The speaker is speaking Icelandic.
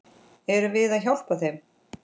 Erum við að hjálpa þeim?